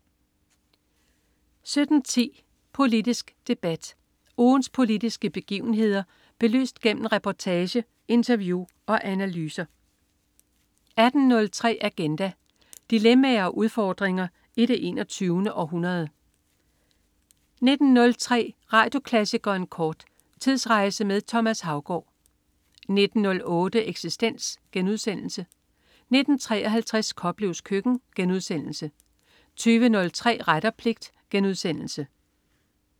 17.10 Politisk Debat. Ugens politiske begivenheder belyst gennem reportage, interview og analyser 18.03 Agenda. Dilemmaer og udfordringer i det 21. århundrede 19.03 Radioklassikeren kort. Tidsrejse med Thomas Haugaard 19.08 Eksistens* 19.53 Koplevs Køkken* 20.03 Ret og pligt*